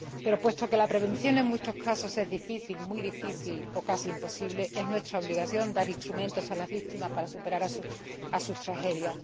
Pero, puesto que la prevención en muchos casos es difícil, muy difícil o casi imposible, es nuestra obligación dar instrumentos a las víctimas para superar sus tragedias.